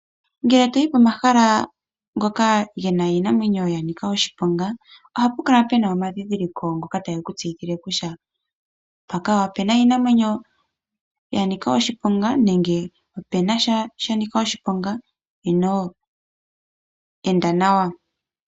Ngele toyi komahala ngoka gena iinamwenyo. mbyoka ya nika oshiponga, ohapu kala puna omadhidhiliko ngoka Tage ku ulukile kutya mpaka opena iinamwenyo ya nika oshiponga nenge sha sha nika oshiponga enda nawa.